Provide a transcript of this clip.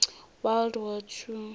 world war two